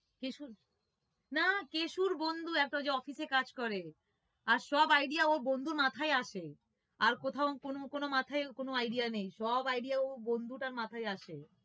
কেশু না কেশুর বন্ধু একটা যে office এ কাজ করে আর সব idea ওর সব বন্ধুর মাথায় আসে আর কোথাও কোনো মাথায় কোনো idea নেই সব idea ওই বন্ধুটার মাথায় আসে